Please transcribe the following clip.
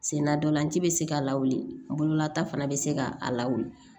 Sen na ntolan ci bɛ se ka lawulila taa fana be se ka a lawuli